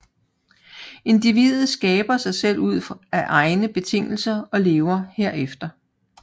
Individet skaber sig selv ud af egne betingelser og lever herefter